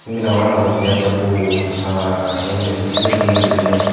sey mela gorano gottey ekkey dol ranga ranga el el hidekken hedekken guriney.